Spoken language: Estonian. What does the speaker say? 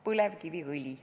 Põlevkiviõli.